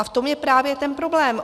A v tom je právě ten problém.